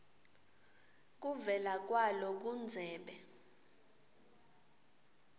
kuvela kwalo kundzebe